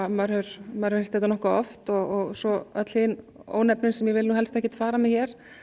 maður hefur heyrt þetta nokkuð oft og svo öll hin ónefnin sem ég vil helst ekki fara með hér